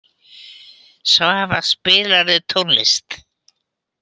Svafa, spilaðu tónlist.